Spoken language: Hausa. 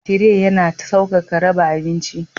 Tire yana sauƙaƙa raba abinci.